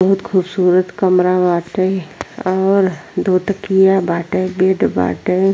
बहुत खूबसूरत कमरा बाटै और दूगो तकिया बाटै बेड बाटै।